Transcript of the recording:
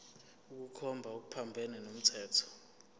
ukukhomba okuphambene nomthetho